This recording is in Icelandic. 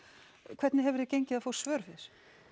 hvernig hefur þér gengið að fá svör við þessu